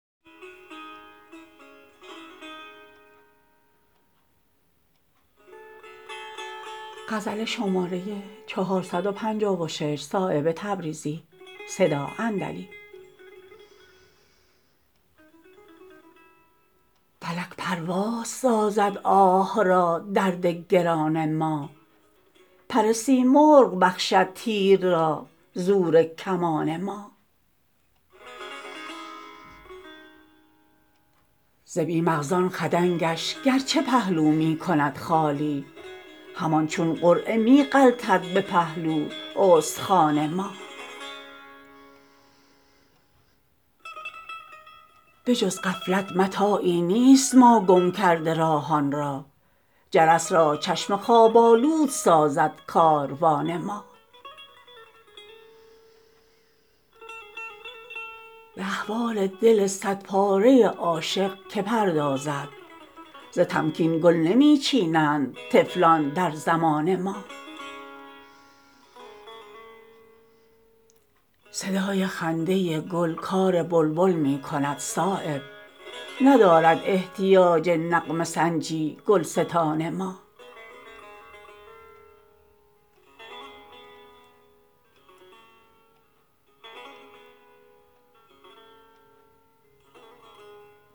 فلک پرواز سازد آه را درد گران ما پر سیمرغ بخشد تیر را زور کمان ما ز بی مغزان خدنگش گرچه پهلو می کند خالی همان چون قرعه می غلطد به پهلو استخوان ما به جز غفلت متاعی نیست ما گم کرده راهان را جرس را چشم خواب آلود سازد کاروان ما به احوال دل صد پاره عاشق که پردازد ز تمکین گل نمی چینند طفلان در زمان ما صدای خنده گل کار بلبل می کند صایب ندارد احتیاج نغمه سنجی گلستان ما